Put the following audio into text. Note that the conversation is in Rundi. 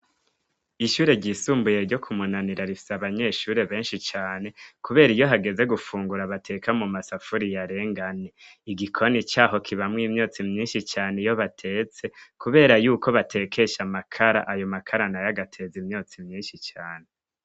Ishure ryisumbuye ryo kumunanira rifise abanyeshure benshi cane, kubera iyo hageze gufungura abateka mu masafuri yarenga ane ,igikoni caho kibamwo imyotsi myinshi cane, iyo batetse kubera y'uko batekesha makara ayo makara nayagateza imyotsi myinshi cane.